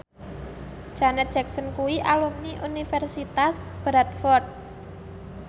Janet Jackson kuwi alumni Universitas Bradford